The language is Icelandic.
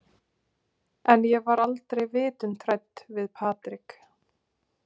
En ég var aldrei vitund hrædd við Patrik.